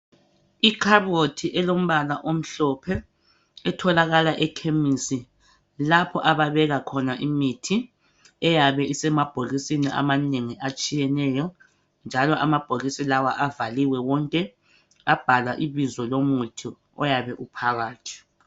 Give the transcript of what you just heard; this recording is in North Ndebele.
Ikhaboti elombala omhlophe etholakala ekhemisi lapho ababeka khona imithi eyabe isemabhokisini amanengi atshiyeneyo njalo amabhokisi lawa avaliwe wonke abhalwa ibizo lomuthi oyabe uphakathi